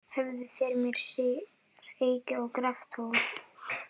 Höfðu þeir með sér eyki og graftól.